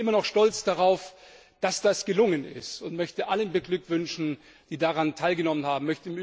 Ich bin immer noch stolz darauf, dass das gelungen ist, und möchte alle beglückwünschen, die daran teilgenommen haben.